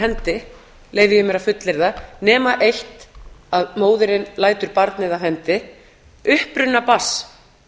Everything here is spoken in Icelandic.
hendi leyfi ég mér að fullyrða nema eitt að móðirin lætur barnið af hendi uppruna barns